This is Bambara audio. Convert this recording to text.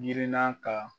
Girinna ka